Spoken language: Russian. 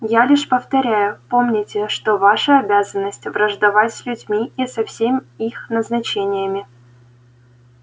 я лишь повторяю помните что ваша обязанность враждовать с людьми и со всем их назначениями